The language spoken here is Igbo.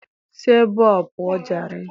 Si ebe a pụọ jare.